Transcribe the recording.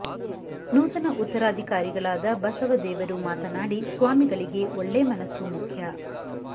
ನೂತನ ಉತ್ತರಾಧಿಕಾರಿಗಳಾದ ಬಸವ ದೇವರು ಮಾತನಾಡಿ ಸ್ವಾಮಿಗಳಿಗೆ ಒಳ್ಳೇ ಮನಸ್ಸು ಮುಖ್ಯ